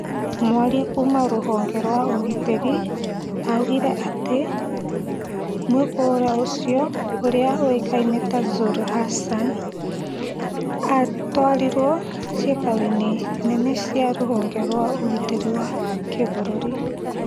Mwaria kuma rũhonge rwa ũgitĩri augire atĩ mwĩkũirwo ũcio ũrĩa ũĩkaine ta Zuru Hassan, atwarirwo cikaro-inĩ nene cia rũhonge rwa ũgitĩri wa kibũrũri